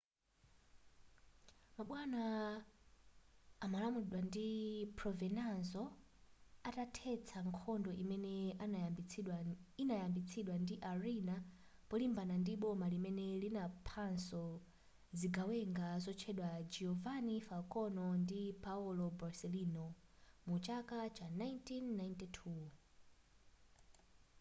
mabwana amalamulidwa ndi provenzano atathetsa nkhondo imene inayambitsidwa ndi riina polimbana ndi boma limene linaphanso zigawenga zotchedwa giovanni falcone ndi paolo borsellino mu chaka cha 1992